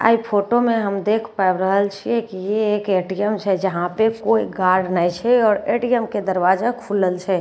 ए photo में हम देख पैब रहल छिये कि ये एक एटीएम छे जहाँ पे कोई गार्ड नेय छे और एटीएम कै दरवाजा खुलल छे।